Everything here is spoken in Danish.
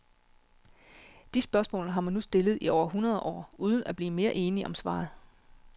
De spørgsmål har man nu stillet i over hundrede år uden at blive mere enige om svaret.